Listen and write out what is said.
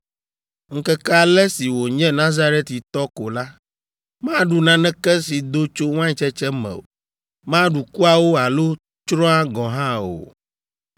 Ŋkeke ale si wònye Nazaritɔ ko la, maɖu naneke si do tso waintsetse me o; maɖu kuawo alo tsroa gɔ̃ hã o.